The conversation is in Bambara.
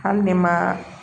Hali ne ma